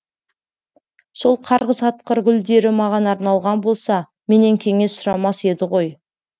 сол қарғыс атқыр гүлдері маған арналған болса менен кеңес сұрамас еді ғой